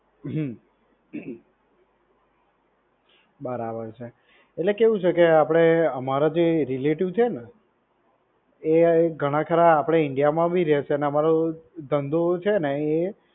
હ્મ, બરાબર છે એટલે કેવું છે કે આપડે અમારા જે relative છે ને એ ઘણા ખરા આપડે India માં ભી રેય છે અને અમારું ધંધો છે ને એ